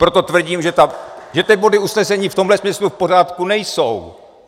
Proto tvrdím, že ty body usnesení v tomhle smyslu v pořádku nejsou.